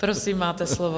Prosím, máte slovo.